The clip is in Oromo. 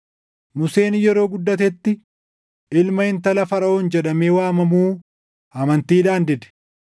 Museen yeroo guddatetti ilma intala Faraʼoon jedhamee waamamuu amantiidhaan dide.